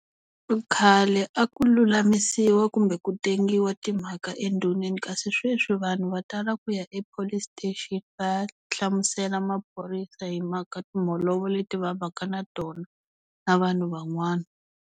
Khale a ku lulamisiwa kumbe ku tengiwa timhaka endhuneni kasi sweswi vanhu va tala ku ya e-Police station va ya hlamusela maphorisa hi mhaka timholovo leti va vaka na tona na vanhu van'wana.